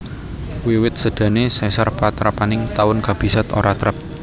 Wiwit sédané Caesar patrapaning taun kabisat ora trep